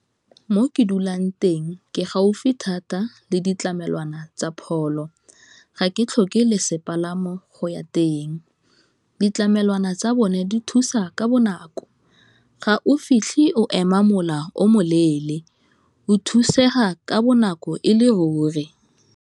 Mo ke dulang teng ke gaufi thata le ditlamelwana tsa pholo, ga ke tlhoke le sepalamo go ya teng ditlamelwana tsa bone di thusa ka bonako, ga o fitlhe o ema mola o moleele, o thusega ka bonako e le ruri.